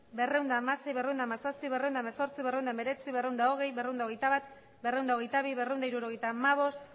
berrehun eta hamasei berrehun eta hamazazpi berrehun eta hemezortzi berrehun eta hemeretzi berrehun eta hogei berrehun eta hogeita bat berrehun eta hogeita bi berrehun eta hirurogeita hamabost